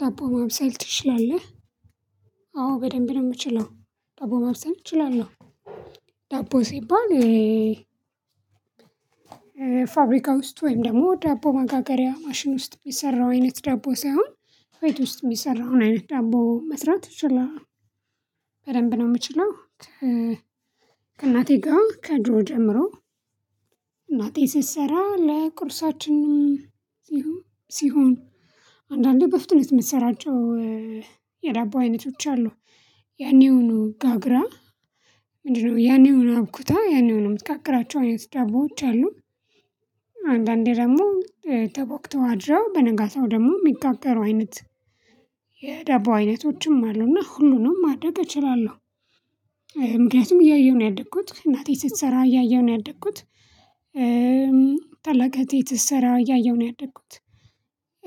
ዳቦ ማብሰል ትችላለህ? አዎ በደንብ ነው የምችለው ዳቦ ማብሰል እችላለሁ። ዳቦ ሲባል ፋብሪካ ውስጥ ወይም ደግሞ ዳቦ መጋገሪያ ማሽን ውስጥ የሚሰራው አይነት ዳቦ ሳይሆን ቤት ውስጥ የሚሰራውን አይነት ዳቦ መስራት እችላለሁ በደንብ ነው የምችለው። ከእናቴ ጋር ከድሮ ጀምሮ እናቴ ስትሰራ ለቁርሳችን ሲሆን ሲሆን አንዳንዴ በፍጥነት የምትሰራቸው የዳቦ አይነቶች አሉ ያኔውኑ ጋግራ ምንድነው ያኔውን አቡክታ ያኔውንም የምትጋግራቸው አይነት ዳቦዎች አሉ። አንዳንዴ ደግሞ ተቦክተው አድረው በነጋታው ደግሞ የሚጋገሩ አይነት የዳቦ አይነቶችም አሉና ሁሉንም ማድረግ እችላለሁ። ምክንያቱም እያየሁ ነው ያደግኩት እናቴ ስትሰራ እያየሁ ነው ያደግኩት ታላቅ እህቴ ስትሰራው እያየሁ ነው ያደኩት።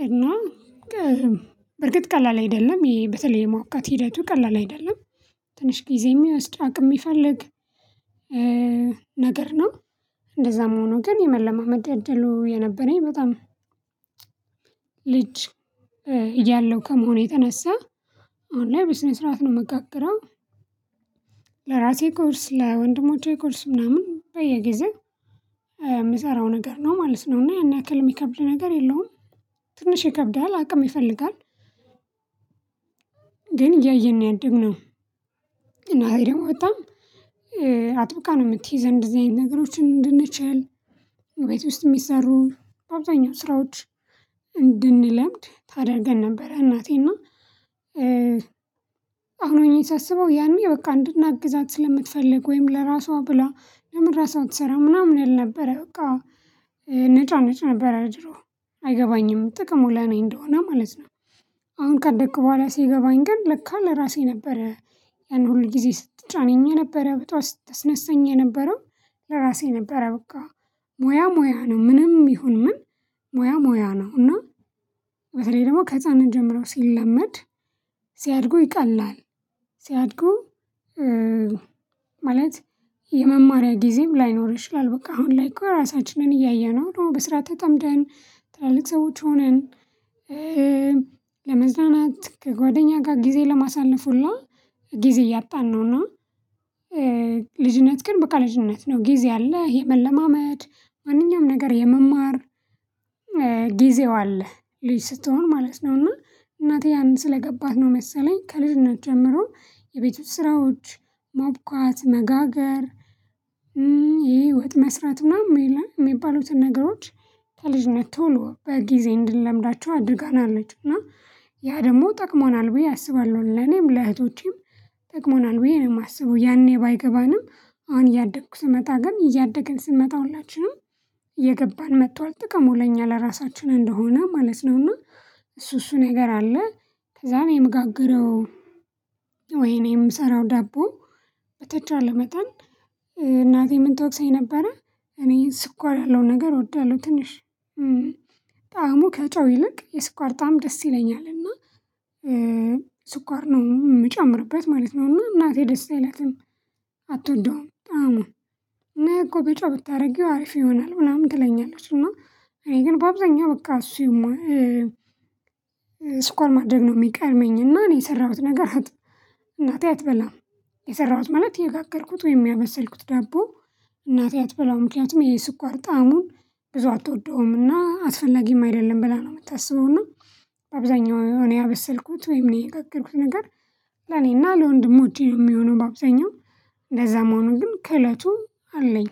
እና በርግጥ ቀላል አይደለም በተለይ የማቡካት ሂደቱ ቀላል አይደለም ትንሽ ጊዜ እና አቅም የሚፈልግ ነገር ነው። እንደዛም ሆኖ ግን የመለማመድ እድሉ የነበረኝ በጣም ልጅ እያለሁ ከመሆኑ የተነሳ አሁን ላይ በስነ ስርዓት ነው የምጋግረው። ለራሴ ቁርስ ለወንድሞቼ ቁርስ ምናምን በየጊዜው የምሰራው ነገር ነው ማለት ነው እና ያን ያክል የሚከብድ ነገር የለውም። ትንሽ ይከብዳል አቅም ይፈልጋል ግን እያየን ነው ያደግነው። እናቴ ደግሞ በጣም አጥብቃ ነው የምትይዘን እንደዚህ አይነት ነገሮችን እንድንችል ቤት ውስጥ የሚሰሩ አብዛኛው ስራዎች እንድንለምድ ታደርገን ነበር። እናቴና አሁን ሆኜ ሳስበው ያኔ በቃ እንድናግዛት ስለምትፈልግ ወይም ለራሷ ብላ ለምን ራሷ አትሰራም ምናምን እል ነበረ በቃ እነጫነጭ ነበር ድሮ አይገባኝም ጥቅሙ ለኔ እንደሆነ ማለት ነው። አሁን ካደኩ በኋላ ሲገባኝ ግን ለካ ለራሴ ነበረ ሁል ጊዜ ስትጫነኝ የነበረው ጠዋት ስታስነሳኝ የነበረው ለራሴ ነበረ በቃ ሙያ ሙያ ነው ምንም ይሁን ምን ሙያ ሙያ ነው። እና በተለይ ደግሞ ከህፃንነት ጀምሮ ሲለመድ ሲያድጉ ይቀላል። ሲያድጉ ማለት የመማሪያ ጊዜም ላይኖር ይችላል በቃ አሁን ላይ እኮ ራሳችንን እያየነው ነው በስራ ተጠምደን ትላልቅ ሰዎች ሆነን። ለመዝናናት ከጓደኛ ጋር ጊዜ ለማሳለፍ ሁላ ጊዜ እያጣን ነውና። ልጅነት ግን በቃ ልጅነት ነው ጊዜ አለ ይሄ መለማመድ ማንኛውም ነገር የመማር አለ ልጅ ስትሆን ማለት ነውና እናቴ ያን ስለገባት ነው መሰለኝ ከልጅነት ጀምሮ የቤቱ ስራዎች ማቡካት መጋገር። ይሄ ወጥ መስራት ምናምን የሚባሉትን ነገሮች ከልጅነት ቶሎ በጊዜ እንድንለምዳቸው አድርገናለች እና ያ ደግሞ ጠቅሞናል ብዬ አስባለሁ ለኔም ለእህቶቼም ጠቅሞናል ብዬ ነው የማስበው። ያኔ ባይገባንም አሁን እያደኩ ስመጣ ግን እያደግን ስንመጣ ሁላችንም እየገባን መጥቷል ጥቅሙ ለኛ ለራሳችን እንደሆነ ማለት ነው። እና እሱ እሱ ነገር አለ ከዛ እኔ የምጋግረው ወይ እኔ የምሰራው ዳቦ በተቻለ መጠን እናቴ ምን ትወቅሰኝ ነበረ? እኔ ስኳር ያለው ነገር እወዳለሁ ትንሽ ጣዕሙ ከጨው ይልቅ የስኳር ጣዕም ደስ ይለኛል እና ስኳር ነው የምጨምርበት ማለት ነው። እና እናቴ ደስ አይላትም አትወደውም ጣዕሙን እኔ እኮ ብጫ ብታደርጊው አሪፍ ይሆናል ምናምን ትለኛለች። እና እኔ ግን በአብዛኛው በቃ እሱ ስኳር ማድረግ ነው የሚቀድመኝ እና እኔ የሰራሁት ነገር እናቴ አትበላም። የሰራሁት ማለት የጋገርኩት ወይም ያበሰልኩት ደቦ እናቴ አትበላው ምክንያቱም የስኳር ጣዕሙን ብዙ አትወደውም እና አስፈላጊም አይደለም ብላ ነው የምታስበው። እና አብዛኛው ያበሰልኩት ወይም እኔ የጋገርኩት ነገር ለኔና ለወንድሞቼ ነው የሚሆነው በአብዛኛው እንደዛም ሆኖ ግን ክህሎቱ አለኝ።